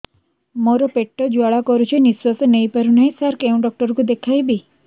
ମୋର ପେଟ ଜ୍ୱାଳା କରୁଛି ନିଶ୍ୱାସ ନେଇ ପାରୁନାହିଁ ସାର କେଉଁ ଡକ୍ଟର କୁ ଦେଖାଇବି